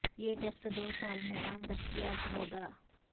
یہ ٹیسٹ دو سال میں عام دستیاب ہو گا